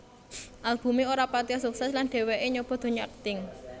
Albumé ora patiya sukses lan dheweké nyoba donya akting